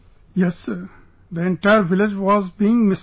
Yes sir...the entire village was being misled